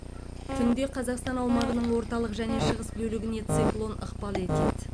түнде қазақстан аумағының орталық және шығыс бөлігіне циклон ықпал етеді